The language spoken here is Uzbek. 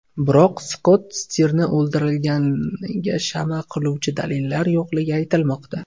Biroq, Skott Stirni o‘ldirilganiga shama qiluvchi dalilllar yo‘qligi aytilmoqda.